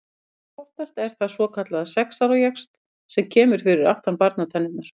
Langoftast er það svokallaður sex ára jaxl sem kemur fyrir aftan barnatennurnar.